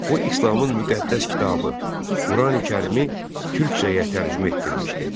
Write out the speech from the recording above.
O, İslamın müqəddəs kitabı, Qurani-Kərimi türkcəyə tərcümə etdirmişdi.